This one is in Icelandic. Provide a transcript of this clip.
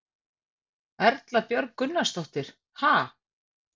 Erla Björg Gunnarsdóttir: Ha?